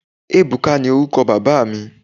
Ebuka ni oruko baba mi